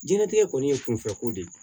Diɲɛlatigɛ kɔni ye kunfɛko de ye